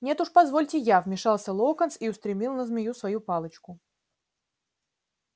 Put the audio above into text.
нет уж позвольте я вмешался локонс и устремил на змею свою палочку